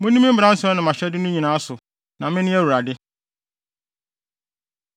“ ‘Munni me mmaransɛm ne mʼahyɛde no nyinaa so, na mene Awurade.’ ”